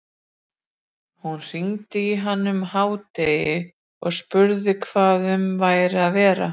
Hún hringdi í hann um hádegi og spurði hvað um væri að vera.